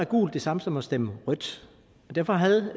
gult det samme som at stemme rødt derfor havde